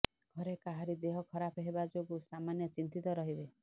ଘରେ କାହାରି ଦେହ ଖରାପ ହେବା ଯୋଗୁଁ ସାମାନ୍ୟ ଚିନ୍ତିତ ରହିବେ